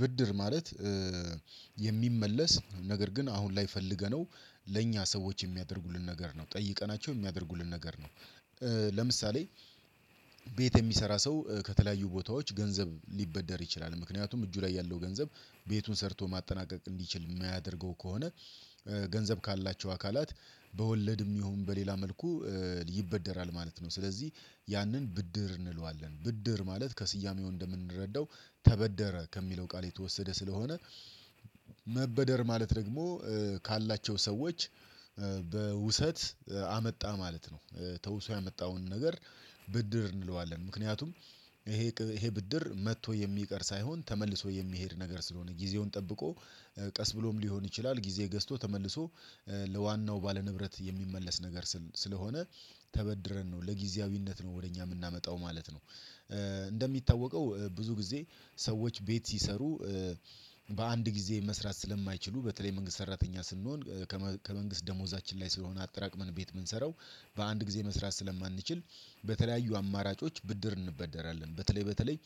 ብድር ማለት የሚመለስ ነገር ግን አሁን ላይ ፈልገነው ለእኛ ሰዎች የሚያደርጉልን ነገር ነው። ጠይቀናቸው የሚያደርጉልን ነገር ነው። ለምሳሌ ቤት የሚሰራ ሰው ከተለያዩ ቦታዎች ገንዘብ ሊበደር ይችላል ምክንያቱም እጁ ላይ ያለው ገንዘብ ቤቱን ሰርቶ ማጠናቀቅ እንዲችል የማያደርገው ከሆነ ገንዘብ ካላቸው አካላት በወለድም ይሁን በሌላ መልኩ ይበደራል ማለት ነው። ስለዚህ ያንን ብድር እንለዋለን ብድር ማለት ከስያሜው እንደምንረዳው ተበደረ ከሚለው ቃል የተወሰደ ስለሆነ መበደር ማለት ደግሞ ካላቸው ሰዎች በውሰት አመጣ ማለት ነው። ተውሶ ያመጣውን ነገር ብድር እንለዋለን ምክንያቱም ይሄ ይሄ ብድር መጥቶ የሚቀር ሳይሆን ተመልሶ የሚሄድ ነገር ስለሆነ ጊዜውን ጠብቆ ቀስ ብሎም ሊሆን ይችላል ጊዜ ገዝቶ ተመልሶ ለዋናው ባለ ንብረት የሚመለስ ነገር ስል ስለሆነ ተበድረን ነው ለጊዜያዊነት ነው ወደ እኛ የምናመጣው ማለት ነው። እንደሚታወቀው ብዙ ጊዜ ሰዎች ቤት ሲሰሩ በ አንድ ጊዜ መስራት ስለማይችሉ በተለይ መንግስት ሰራተኛ ስንሆን ከመንግስት ደሞዛችን ላይ ስለሆነ አጠራቅመን ቤት የምንሰራው በአንድ ጊዜ መስራት ስለማንችል በተለያዩ አማራጮች ብድር እንበደራለን በተለይ በተለይ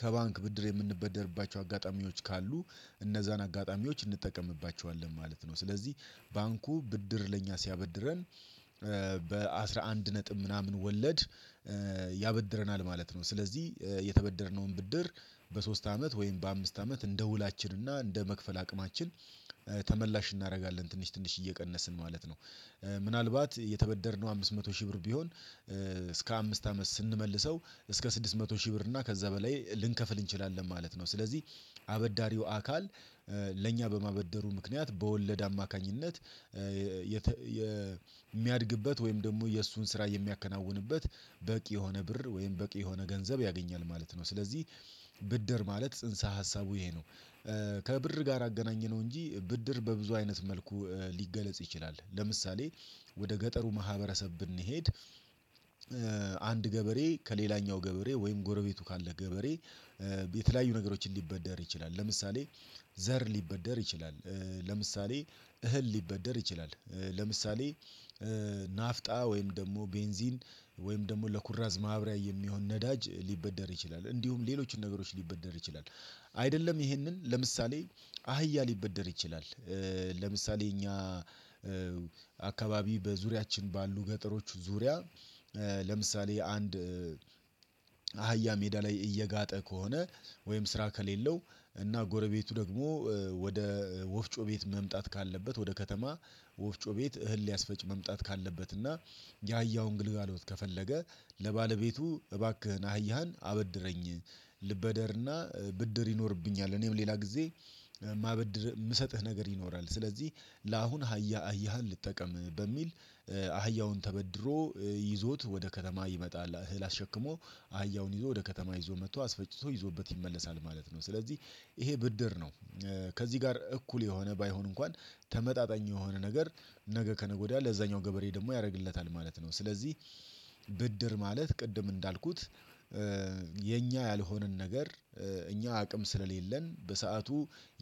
ከ ባንክ ብድር የምንበደርባቸው አጋጣሚዎች ካሉ እነዛን አጋጣሚዎች እንጠቀምባቸዋለን ማለት ነው። ስለዚህ ባንኩ ብድር ለኛ ሲያበድረን በ አስራ አንድ ነጥብ ምናምን ወለድ ያበድረናል ማለት ነው። ስለዚህ የተበደርነውን ብድር በ ሶስት አመት ወይም በ አምስት አመት እንደ ውላችን እና እንደ መክፈል አቅማችን ተመላሽ እናደርጋለን ትንሽ ትንሽ እየቀነስን ማለት ነው። ምናልባት የተበደርነው አምስት መቶ ሺህ ብር ቢሆን እስከ አምስት አመት ስንመልሰው እስከ ስድስት መቶ ሺህ ብር እና ከዛ በላይ ልንከፍል እንችላለን ማለት ነው። ስለዚህ አበዳሪው አካል ለእኛ በ ማበደሩ ምክንያት በ ወለድ አማካኝነት የሚያድግበት ወይም ደግሞ የእሱን ስራ የሚያከናውንበት በቂ የሆነ ብር ወይም በቂ የሆነ ገንዘብ ያገኛል ማለት ነው፣ ስለዚህ ብድር ማለት ጽንሰ ሀሳቡ ይሄ ነው። ከብር ጋር አገናኘነው እንጂ ብድር በብዙ አይነት መልኩ ሊገለጽ ይችላል ለምሳሌ ወደ ገጠሩ ማህበረሰብ ብንሄድ አንድ ገበሬ ከሌላኛው ገበሬ ወይም ጎረቤቱ ካለ ገበሬ የተለያዩ ነገሮችን ሊበደር ይችላል ለምሳሌ፣ ዘር ሊበደር ይችላል ለምሳሌ፣ እህል ሊበደር ይችላል ለምሳሌ፣ ናፍጣ ወይም ደግሞ ቤንዚን ወይም ደግሞ ለኩራዝ ማብራያ የሚሆን ነዳጅ ሊበደር ይችላል፣ እንዲሁም ሌሎችን ነገሮች ሊበደር ይችላል። አይደለም ይህንን ለምሳሌ አህያ ሊበደር ይችላል ለምሳሌ እኛ አካባቢ በዙሪያችን ባሉ ገጠሮች ዙሪያ ለምሳሌ አንድ አህያ ሜዳ ላይ እየጋጠ ከሆነ ወይም ስራ ከሌለው እና ጎረቤቱ ደግሞ ወደ ወፍጮ ቤት መምጣት ካለበት ወደ ከተማ ወፍጮ ቤት እህል ሊያስፈጭ መምጣት ካለበት እና ያያውን ግልጋሎት ከፈለገ ለባለቤቱ እባክህን አህያህን አበድረኝ ልበደርና ብድር ይኖርብኛል እኔም ሌላ ጊዜ ማበድር የምሰጥህ ነገር ይኖራል ስለዚህ ለአሁን አህያ አህያህን ልጠቀም በሚል አህያውን ተበድሮ ይዞት ወደ ከተማ ይመጣል እህል አሸክሞ አህያውን ይዞ ወደ ከተማ ይዞ መጥቶ አስፈጭቶ ይዞበት ይመለሳል ማለት ነው። ስለዚህ ይሄ ብድር ነው ከዚህ ጋር እኩል የሆነ ባይሆን እንኳን ተመጣጣኝ የሆነ ነገር ነገ ከነገ ወዲያ ለዛኛው ገበሬ ደግሞ ያደርግለታል ማለት ነው። ስለዚህ ብድር ማለት ቅድም እንዳልኩት የኛ ያልሆነን ነገር እኛ አቅም ስለሌለን በሰአቱ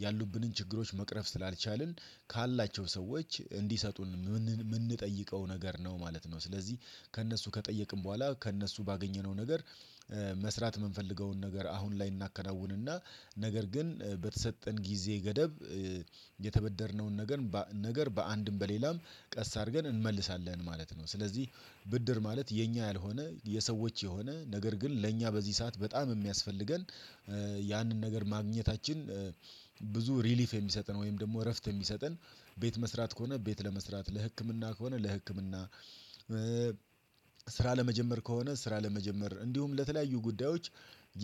ያሉብንን ችግሮች መቅረፍ ስላልቻልን ካላቸው ሰዎች እንዲሰጡን የምንጠይቀው ነገር ነው ማለት ነው። ስለዚህ ከእነሱ ከጠየቅን በኋላ ከእነሱ ባገኘነው ነገር መስራት የምንፈልገውን ነገር አሁን ላይ እናከናውንና ነገር ግን በተሰጠን ጊዜ ገደብ የተበደርነውን ነገር ነገር በአንድም በሌላም ቀስ አድርገን እንመልሳለን ማለት ነው። ስለዚህ ብድር ማለት የኛ ያልሆነ የሰዎች የሆነ ነገር ግን ለእኛ በዚህ ሰዓት በጣም የሚያስፈልገን ያንን ነገር ማግኘታችን ብዙ ሪሊፍ የሚሰጠን ወይም ደግሞ እረፍት የሚሰጠን ቤት መስራት ከሆነ ቤት ለመስራት ለህክምና ከሆነ ለህክምና ስራ ለመጀመር ከሆነ ስራ ለመጀመር እንዲሁም፣ ለተለያዩ ጉዳዮች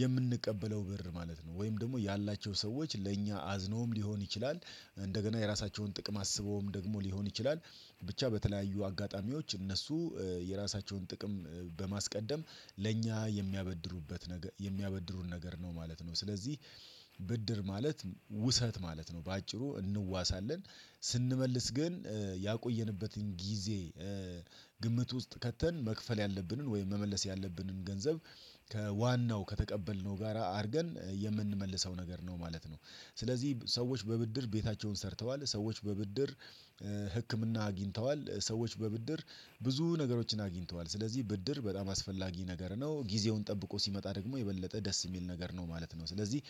የምንቀበለው ብር ማለት ነው። ወይም ደግሞ ያላቸው ሰዎች ለ እኛ አዝነውም ሊሆን ይችላል እንደገና የራሳቸውን ጥቅም አስብውም ደግሞ ሊሆን ይችላል ብቻ በተለያዩ አጋጣሚዎች እነሱ የራሳቸውን ጥቅም በማስቀደም ለእኛ የሚያበድሩበት ነገር የሚያበድሩን ነገር ነው ማለት ነው። ስለዚህ ብድር ማለት ውሰት ማለት ነው። በአጭሩ እንዋሳለን ስንመልስ ግን ያቆየንበትን ጊዜ ግምት ውስጥ ከተን መክፈል ያለብንን ወይም መመለስ ያለብንን ገንዘብ ከዋናው ከተቀበልነው ጋራ አድርገን የምንመልሰው ነገር ነው ማለት ነው። ስለዚህ ሰዎች በብድር ቤታቸውን ሰርተዋል ሰዎች በብድር ህክምና አግኝተዋል ሰዎች በብድር ብዙ ነገሮችን አግኝተዋል ስለዚህ ብድር በጣም አስፈላጊ ነገር ነው። ጊዜውን ጠብቆ ሲመጣ ደግሞ የበለጠ ደስ የሚል ነገር ነው ማለት ነው። ስለዚህ